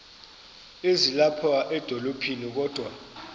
ezilapha edolophini kodwa